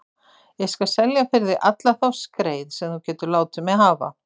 Ég skal selja fyrir þig alla þá skreið sem þú getur látið mig hafa.